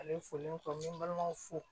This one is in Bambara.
Ale foli tɔ ne balimamuso fo